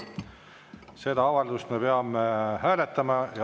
Seda avaldust me peame hääletama.